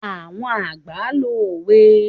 Àwọn àgbà lo òwe